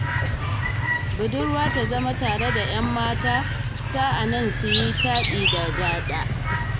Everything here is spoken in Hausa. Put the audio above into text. Budurwa ta zama tare da yammata sa'ani suyi taɗi da gaɗa